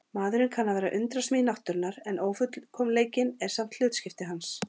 Maðurinn kann að vera undrasmíð náttúrunnar en ófullkomleikinn er samt hlutskipti hans.